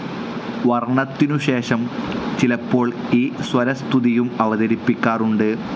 വർണ്ണത്തിനുശേഷം, ചിലപ്പോൾ, ഈശ്വരസ്തുതിയും അവതരിപ്പിക്കാറുണ്ട്.